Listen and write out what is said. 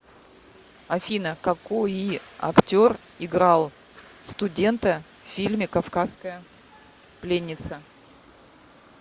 афина какои актер играл студента в фильме кавказская пленница